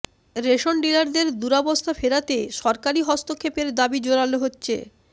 ration ডিলারদের দুরাবস্থা ফেরাতে সরকারি হস্তক্ষেপের দাবি জোরালো হচ্ছে